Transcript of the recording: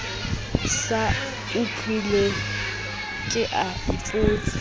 sa utlweng ke a ipotsa